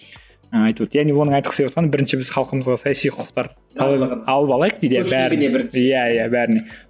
яғни оның айтқысы келіп отырғаны бірінші біз халқымызға саяси құқықтар иә иә бәріне